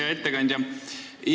Hea ettekandja!